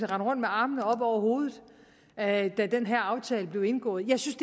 rende rundt med armene oppe over hovedet da den her aftale blev indgået jeg synes